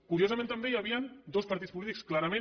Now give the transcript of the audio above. curiosament també hi havien dos partits polítics clarament